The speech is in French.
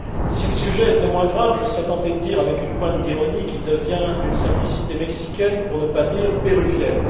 Si le sujet était moins grave, je serais tenté de dire, avec une pointe d'ironie, qu'il devient d'une simplicité mexicaine, pour ne pas dire péruvienne.